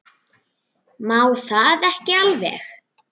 Má það ekki alveg?